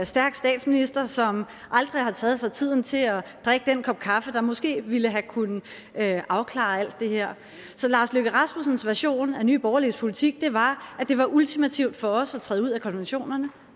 stærk statsminister som aldrig har taget sig tiden til at drikke den kop kaffe der måske ville have kunnet afklare alt det her så lars løkke rasmussens version af nye borgerliges politik var at det var ultimativt for os at træde ud af konventionerne